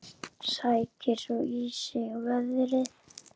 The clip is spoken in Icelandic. Sækir svo í sig veðrið.